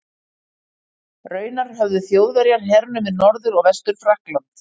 Raunar höfðu Þjóðverjar hernumið Norður- og Vestur-Frakkland.